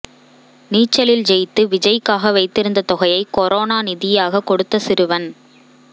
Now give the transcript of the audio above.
நீச்சலில் ஜெயித்து விஜய்க்காக வைத்திருந்த தொகையை கொரோனா நிதியாக கொடுத்த சிறுவன்